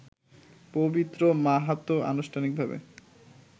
পবিত্র মাহাতো আনুষ্ঠানিকভাবে